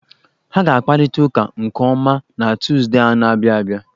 Ha ga-akparịta ụka nke ọma na Tọzdee a na-abịa abịa.